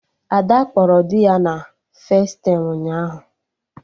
Ada kpọrọ dị ya na festaịm ụnyaahụ